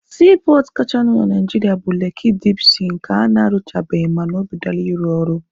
Siipọọtụ kachanụ na Naijiria bụ Leki dip sii nke ana-arụchabeghị mana o bidola ịrụ ọrụ.